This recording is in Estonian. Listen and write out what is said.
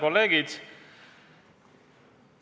Kolleegid!